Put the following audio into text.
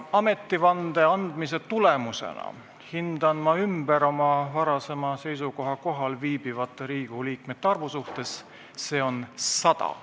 Ametivande andmise tulemusena hindan ma ümber oma varasema seisukoha kohalviibivate Riigikogu liikmete arvu suhtes: kohalviibijaid on 100.